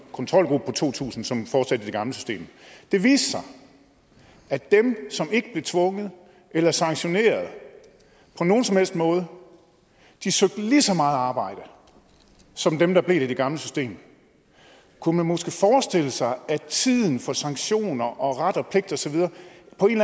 kontrolgruppe på to tusind som fortsatte i det gamle system det viste sig at dem som ikke blev tvunget eller sanktioneret på nogen som helst måde søgte lige så meget arbejde som dem der blev i det gamle system kunne man måske forestille sig at tiden for sanktioner og ret